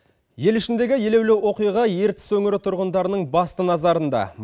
ел ішіндегі елеулі оқиға ертіс өңірі тұрғындарының басты назарында